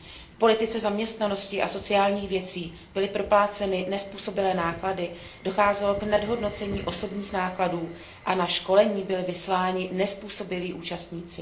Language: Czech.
V politice zaměstnanosti a sociálních věcí byly propláceny nezpůsobilé náklady, docházelo k nadhodnocení osobních nákladů a na školení byli vysíláni nezpůsobilí účastníci.